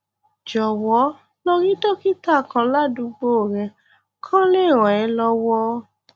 jọwọ lọ rí dókítà kan ládùúgbò rẹ kó lè ràn ẹ lọwọ